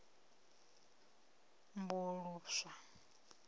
seed lot na u sambuluswa